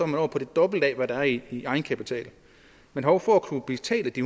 man oppe på det dobbelte af hvad der er i egenkapitalen men hov for at kunne betale de